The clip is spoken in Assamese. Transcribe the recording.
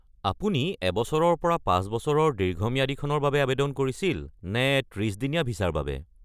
আপুনি এবছৰৰ পৰা পাঁচবছৰৰ দীৰ্ঘম্যাদীখনৰ বাবে আৱেদন কৰিছিল নে ত্ৰিছ-দিনীয়া ভিছাৰ বাবে?